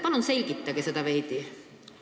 Palun selgitage seda veidi!